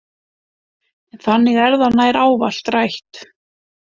En þannig er það nær ávallt rætt.